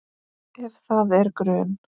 Ef það er grun